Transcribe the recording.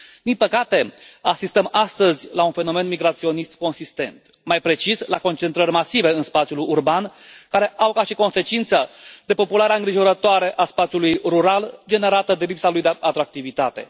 Din păcate asistăm astăzi la un fenomen migraționist consistent, mai precis, la concentrări masive în spațiul urban care au ca și consecință depopularea îngrijorătoare a spațiului rural generată de lipsa lui de atractivitate.